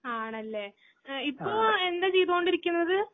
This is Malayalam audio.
ആണല്ലെ. എ ഇപ്പോ എന്താചെയ്തോണ്ടിരിക്കുന്നത്?